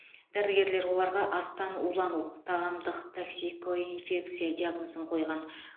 дәрігерлер оларға астан улану тағамдық токсикоинфекция диагнозын қойған